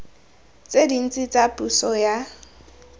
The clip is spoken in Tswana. tse dintsi tsa puso ya